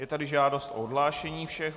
Je tady žádost o odhlášení všech.